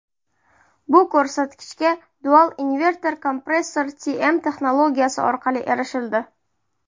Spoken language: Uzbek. Bu ko‘rsatkichga Dual Inverter Compressor™ texnologiyasi orqali erishildi.